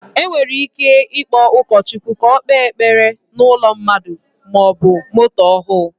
Enwere ike ikpo ụkọ Chukwu ka ọ kpe ekpere na ụlọ maọbụ moto ọhụ